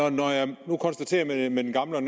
og når jeg nu konstaterer det her med den gamle og